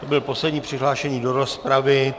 To byl poslední přihlášený do rozpravy.